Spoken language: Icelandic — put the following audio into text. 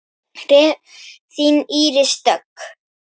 Þín Íris Dögg.